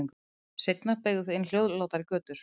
Seinna beygðu þau inn hljóðlátari götur.